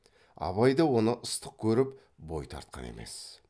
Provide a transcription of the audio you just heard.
абай да оны ыстық көріп бой тартқан емес